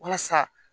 Walasa